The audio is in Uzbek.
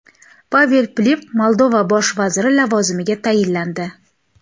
Pavel Filip Moldova bosh vaziri lavozimiga tayinlandi.